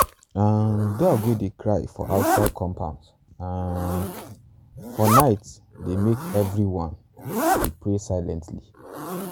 um dog wey dey cry for outside compound um for night dey make everyone um dey pray silently.